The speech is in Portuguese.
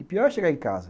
E pior é chegar em casa.